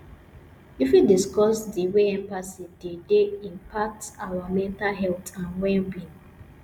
you fit discuss di way empathy dey dey impact our mental health and wellbeing